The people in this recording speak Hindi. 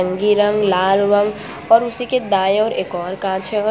नारंगी रंग लाल रंग और उसी के दाएं और एक और का कांच है।